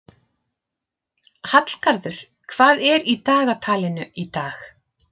Hallgarður, hvað er í dagatalinu í dag?